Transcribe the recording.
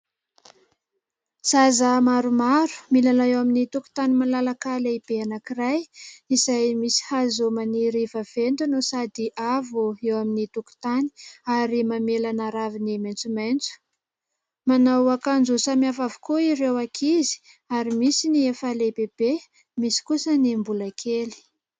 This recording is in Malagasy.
Zaza maromaro milalao eo amin'ny tokontany malalaka lehibe anankiray izay misy hazo maniry vaventy no sady avo eo amin'ny tokontany ary mamelana raviny maitsomaitso, manao akanjo samy hafa avokoa ireo ankizy ary misy ny efa lehibebe, misy kosa ny mbola kely.